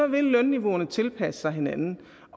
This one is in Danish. vil lønniveauerne tilpasse sig hinanden